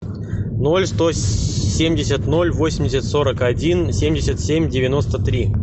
ноль сто семьдесят ноль восемьдесят сорок один семьдесят семь девяносто три